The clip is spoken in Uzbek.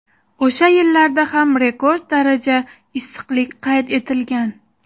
O‘sha yillarda ham rekord daraja issiqlik qayd etilgan.